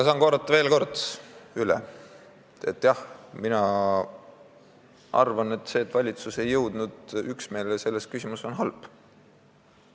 Saan veel kord üle korrata: jah, mina arvan, et see, et valitsus ei jõudnud üksmeelele selles küsimuses, on halb.